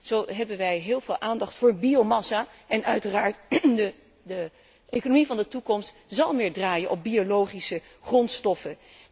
Zo hebben wij heel veel aandacht voor biomassa en uiteraard zal de economie van de toekomst meer draaien op biologische grondstoffen.